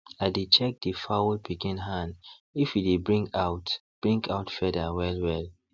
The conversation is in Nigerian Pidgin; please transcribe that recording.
i dey check the fowl pikin hand if e dey bring out bring out feather well well